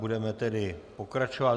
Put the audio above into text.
Budeme tedy pokračovat.